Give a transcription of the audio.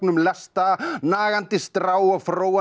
lesta nagandi strá og